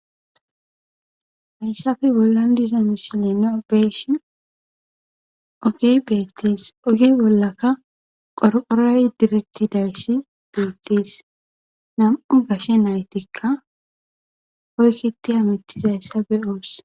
hayssafe bollan diza misile neobeshin ogey beettis oge bollaka qorqorey direttidayssi beettis nam7u gashe naytikka hoykkiti a mittidayssa be ooss